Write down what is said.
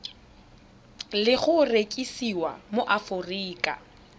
le go rekisiwa mo aforika